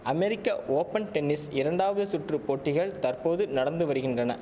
அமெரிக்க open tennis இரண்டாவது சுற்று போட்டிகள் தற்போது நடந்து வருகின்றன